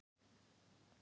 Júlía leit á Lenu.